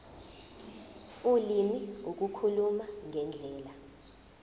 ulimi ukukhuluma ngendlela